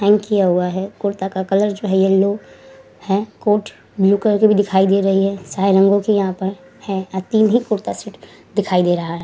Hang किया हुआ है। कुर्ता का कलर जो है यलो है। कोट ब्लू कलर की भी दिखाई दे रही है। सारे रंगों की यहाँ पर है। आ तीन ही कुर्ता सेट दिखाई दे रहा है।